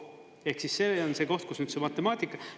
Ehk siis see on see koht, kus on see matemaatika.